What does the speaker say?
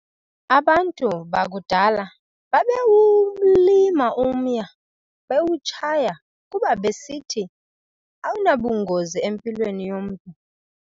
Abantu bakudala babewulima umya, bewutshaya kuba besithi awunabungozi empilweni yomntu.